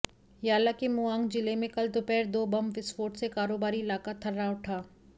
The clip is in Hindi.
याला के मुआंग जिले में कल दोपहर दो बम विस्फोट से कारोबारी इलाका थर्रा उठा